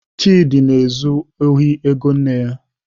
Chidi na-ezu ohi ego nne ya.